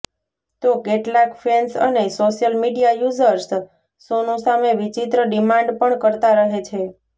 તો કેટલાક ફેન્સ અને સોશિયલ મીડિયા યૂઝર્સ સોનુ સામે વિચિત્ર ડિમાન્ડ પણ કરતા રહે છે